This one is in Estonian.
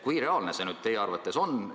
Kui reaalne see teie arvates on?